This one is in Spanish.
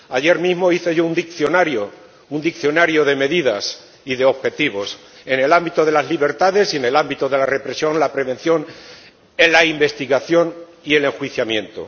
Ayer mismo hice yo un diccionario, un diccionario de medidas y de objetivos, en el ámbito de las libertades y en el ámbito de la represión, la prevención, en la investigación y el enjuiciamiento.